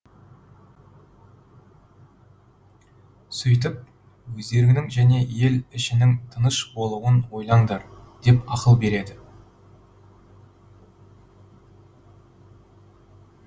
сөйтіп өздеріңнің және ел ішінің тыныш болуын ойлаңдар деп ақыл береді